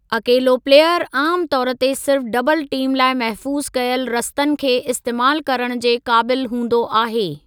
अकेलो प्लेयरु आमु तौर ते सिर्फ़ डबल टीम लाइ महफूज़ु कयल रस्तनि खे इस्तेमाल करण जे क़ाबिलु हूंदो आहे।